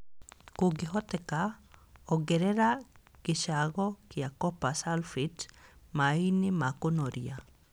Kũngĩhoteka, ongereraga gĩcango kĩa copper sulphate maĩ-inĩ ma kũnoria